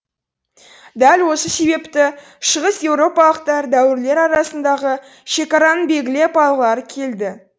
дәл осы себепті шығыс еуропалықтар дәуірлер арасындағы шекараны белгілеп алғылары келді